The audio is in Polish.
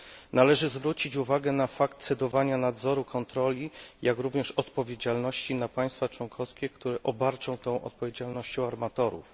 Należy zwrócić uwagę na cedowanie nadzoru, kontroli, jak również odpowiedzialności na państwa członkowskie, które obarczą tą odpowiedzialnością armatorów.